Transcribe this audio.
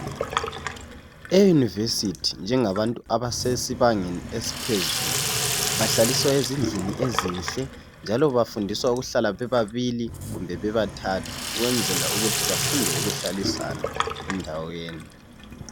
Eyunivesithi njengabantu abasesibangeni eliphezulu bahlaliswa ezindlini ezinhle njalo bafundiswa ukuthi behlale bebabili kumbe bebathathu ukwenzela ukuthi bafunde ukuhlalisana endaweni